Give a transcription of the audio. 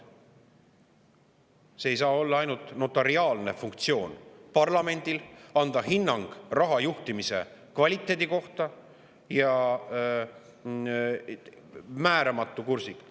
Parlamendil ei saa olla ainult notariaalne funktsioon, et anda hinnang raha juhtimise kvaliteedi kohta, ja seda määramatu kursiga.